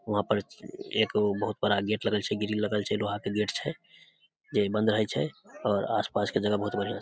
वहाँ पर एक बहुत बड़ा गेट लगल छै ग्रिल लगल छै लोहा के गेट छै जे बंद रहय छै और आस पास के जगह बहुत बढ़िया --